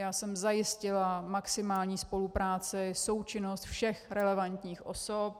Já jsem zajistila maximální spolupráci, součinnost všech relevantních osob.